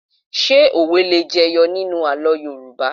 Ṣé òwe le jẹyọ nínú àlọ́ Yorùbá?